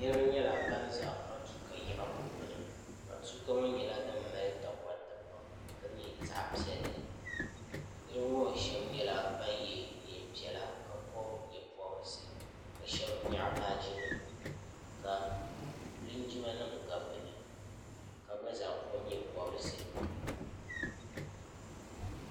niraba nyɛla ban ʒɛ matuuka yiɣirigu gbuni matuuka ŋo nyɛla din mali takoriti pam ka nyɛ zaɣ piɛlli niraba ŋo shab nyɛla ban yɛ neen piɛla ka pobi nyɛ pobirisi ka shab nyaɣa baaji nima ka linjima nim gabi bi ni ka gba zaa pobi nyɛ pobirisi